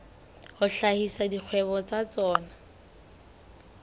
a hlahisa dikgwebo tsa tsona